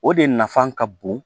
O de nafa ka bon